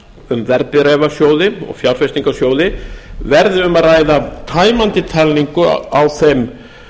um verðbréfasjóði og fjárfestingarsjóði verði um að ræða tæmandi talningu á þeim